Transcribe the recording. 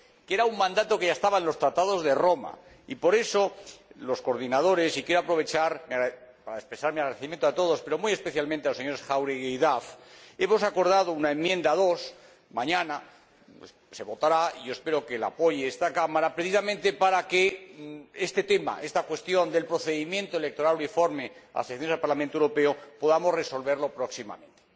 Eso era un mandato que ya estaba en los Tratados de Roma y, por eso, los coordinadores y quiero aprovechar para expresar mi agradecimiento a todos pero, muy especialmente, a los señores Jáuregui y Duff hemos acordado una enmienda 2 que mañana se votará, y yo espero que la apoye esta Cámara, precisamente para que este tema, esta cuestión del procedimiento electoral uniforme para las elecciones al Parlamento Europeo podamos resolverlo próximamente.